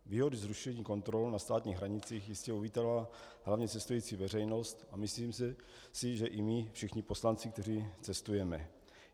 Výhody zrušení kontrol na státních hranicích jistě uvítala hlavně cestující veřejnost a myslím si, že i my všichni poslanci, kteří cestujeme.